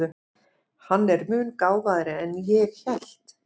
Hann er mun gáfaðri en ég hélt.